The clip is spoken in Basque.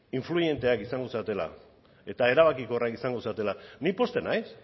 eraginkorrak izango zaretela eta erabakiorrak izango zaretela ni pozten naiz